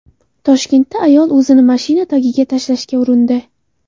Toshkentda ayol o‘zini mashina tagiga tashlashga urindi .